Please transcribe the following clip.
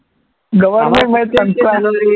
government